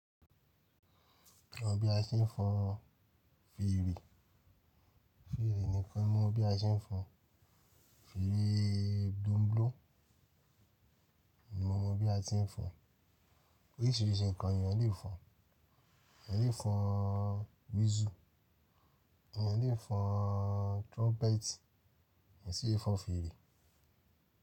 Mo mọ bí a ṣe ń fọn fèrè, fèrè nìkan mọ́ bí a ṣe ń fọn fèrè. Bloo bloo ni mo mọ bí a ti ń fọn. Oríṣìíríṣìí ǹkan lèèyàn le fọn. Èèyàn le fọn whistle, èèyàn le fọn trumpet kàn ṣe ẹ fọn fèrè.